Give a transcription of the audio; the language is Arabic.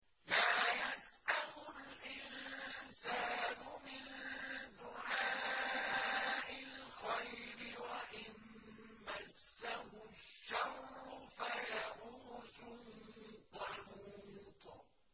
لَّا يَسْأَمُ الْإِنسَانُ مِن دُعَاءِ الْخَيْرِ وَإِن مَّسَّهُ الشَّرُّ فَيَئُوسٌ قَنُوطٌ